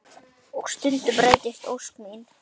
Og stundum rætist ósk mín.